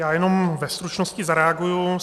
Já jenom ve stručnosti zareaguji.